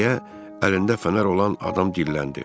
Deyə əlində fənər olan adam dilləndi.